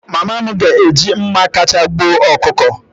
Mama m ga-eji mma kacha gbuo ọkụkọ.